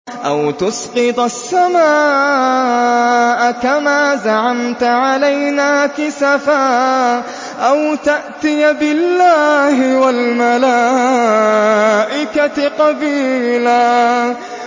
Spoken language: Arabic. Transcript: أَوْ تُسْقِطَ السَّمَاءَ كَمَا زَعَمْتَ عَلَيْنَا كِسَفًا أَوْ تَأْتِيَ بِاللَّهِ وَالْمَلَائِكَةِ قَبِيلًا